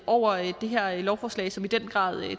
over det her lovforslag som i den grad